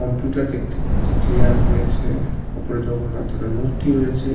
Computer দেখতে পারছি chair রয়েছে ওপরে জগন্নাথদেবের মূর্তি রয়েছে।